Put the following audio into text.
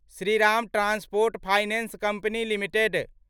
Shriram transport finance company limited